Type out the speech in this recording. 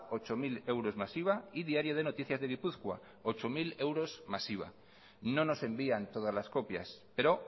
ocho mil euros más iva diario de noticias de gipuzkoa zortzi milaeuros más iva no nos envían todas las copias pero